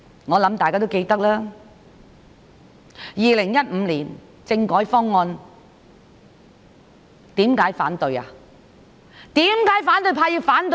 我想大家也記得，政府在2015年提出政改方案，為何反對派要反對？